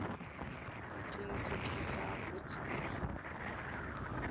kucinisekisa kutsi kuba